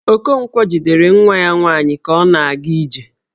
Okonkwo jidere nwa ya nwaanyi ka ọ na-aga ije.